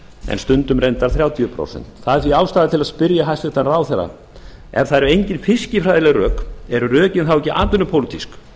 en stundum reyndar þrjátíu prósent það er því ástæða til að spyrja hæstvirtan ráðherra ef það eru engin fiskifræðileg rök eru rökin þá ekki atvinnupólitísk